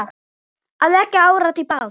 Að leggja árar í bát?